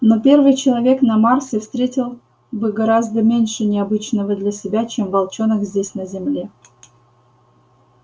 но первый человек на марсе встретил бы гораздо меньше необычного для себя чем волчонок здесь на земле